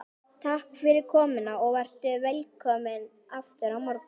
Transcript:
Takk fyrir komuna og vertu velkomin aftur á morgun.